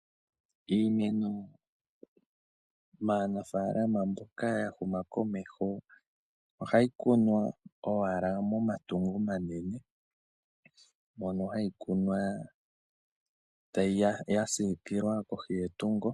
Iimeno maanafalama mboka ya huma komeho ohayi kunwa owala momatungo omanene. Mono hayi kunwa ya siikilwa kohi kohi yetungo.